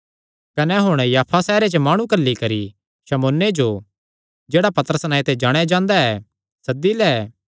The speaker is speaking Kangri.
कने हुण याफा सैहरे च माणु घल्ली करी शमौने जो जेह्ड़ा पतरस नांऐ ते जाणेया जांदा ऐ सद्दी लै